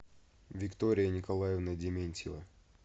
виктория николаевна дементьева